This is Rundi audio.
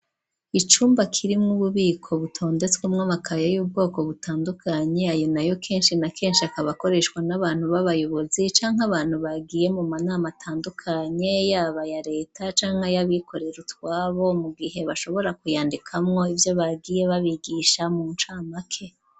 Icumba kirimwo ububiko butondetswemwo amakaya y'ubwoko butandukanye ayo nayo keshi na keshi akaba akoreshwa n'abantu baba yobozi canke abantu bagiye mu manama atandukanye yaba aya leta canke aya bikorera utwabo mu gihe bashobora ku yandikamwo ivyo bagiye babigisha mu ncamake.